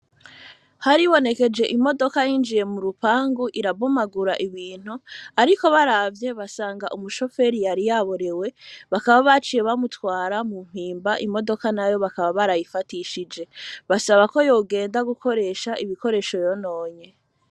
Haribonekeje imodoka yinjiye mu rupangu irabomagura ibintu, ariko baravye basanga umushoferi yari yaborewe bakaba baciye bamutwara mu mpimba imodoka nayo bakaba barayifatishije basaba ko yogenda gukoresha ibikoresho rononye.